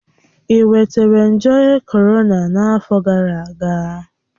Ị nwetara nje korona n'afọ gara aga?